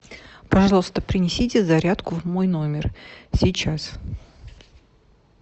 пожалуйста принесите зарядку в мой номер сейчас